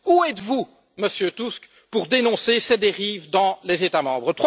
Où êtes vous, Monsieur Tusk, pour dénoncer ces dérives dans les États membres?